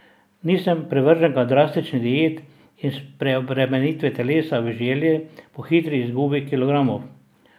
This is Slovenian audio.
Nisem privrženka drastičnih diet in preobremenitve telesa v želji po hitri izgubi kilogramov.